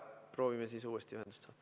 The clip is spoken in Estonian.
Proovime uuesti alustada.